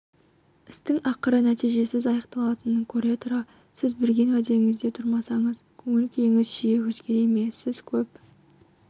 істің ақыры нәтижесіз аяқталатынын көре тұра сіз берген уәдеңізде тұрамысыз көңіл-күйіңіз жиі өзгере ме сіз кеп